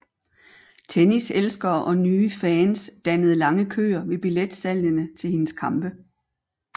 Tenniselskere og nye fans dannede lange køer ved billetsalgene til hendes kampe